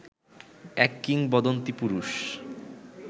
এক কিংবদন্তী পুরুষ